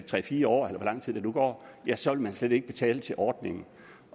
tre fire år eller hvor lang tid der nu går ja så vil man slet ikke betale til ordningen